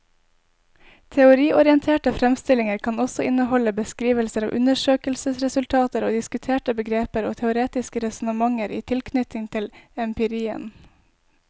Teoriorienterte fremstillinger kan også inneholde beskrivelser av undersøkelsesresultater og diskutere begreper og teoretiske resonnementer i tilknytning til empirien.